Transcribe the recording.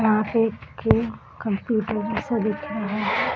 यहाँ पे एक कंप्यूटर जैसा दिख रहा है।